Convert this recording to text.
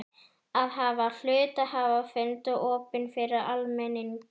að hafa hluthafafund opinn fyrir almenning.